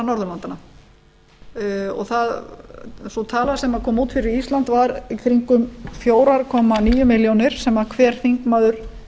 norðurlandanna og sú tala sem kom út fyrir ísland var í kringum fjögur komma níu milljónir sem hver þingmaður